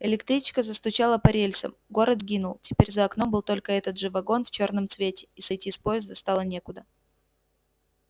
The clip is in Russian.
электричка застучала по рельсам город сгинул теперь за окном был только этот же вагон в чёрном цвете и сойти с поезда стало некуда